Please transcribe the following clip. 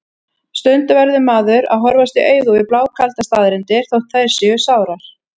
Stundum verður maður að horfast í augu við blákaldar staðreyndir, þótt þær séu sárar.